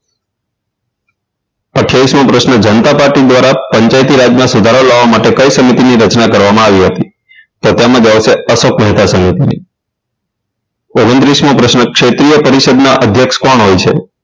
અઠ્ઠાવીસ મો પ્રશ્ન જનતા પાર્ટી દ્વારા પંચાયતી રાજમાં સુધારો લાવવા માટે કઈ સમિતિની રચના કરવામાં આવી હતી તો તેમાં જવાબ આવશે અશોકહીતા સમિતિની ઓગણત્રીસ મો પ્રશ્ન ક્ષેત્રીય પરિષદના અધ્યક્ષ કોણ હોય છે